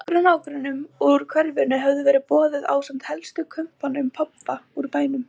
Nokkrum nágrönnum úr hverfinu hafði verið boðið ásamt helstu kumpánum pabba úr bænum.